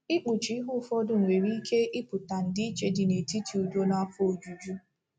Ikpuchi ihe ụfọdụ nwere ike ịpụta ndịiche dị netiti udo na afọ ojuju.